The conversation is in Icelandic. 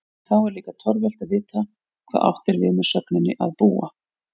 Þá er líka torvelt að vita hvað átt er við með sögninni að búa?